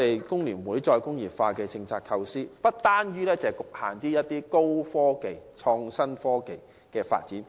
工聯會就"再工業化"政策的構思，不單局限於高科技及創新科技的發展。